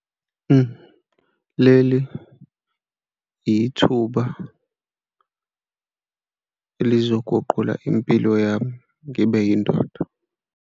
Leli ithuba elizoguqula impilo yami ngibe yindoda.